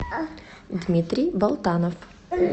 дмитрий болтанов